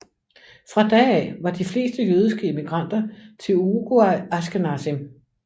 Fra da af var de fleste jødiske immigranter til Uruguay ashkenazim